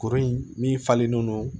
Kuru in min falenlen don